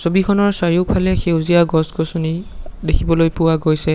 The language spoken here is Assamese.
ছবিখনৰ চাৰিওফালে সেউজীয়া গছ গছনি দেখিবলৈ পোৱা গৈছে।